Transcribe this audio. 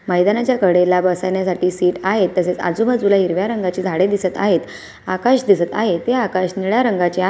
मैदानाच्या कडेला बसण्यासाठी सीट आहे तसेच आजूबाजूला हिरव्या रंगाची झाडे दिसत आहेत आकाश दिसत आहे ते आकाश निळ्या रंगाचे आ--